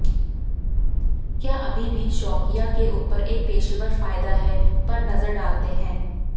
क्या अभी भी शौकिया के ऊपर एक पेशेवर फायदा है पर नजर डालते हैं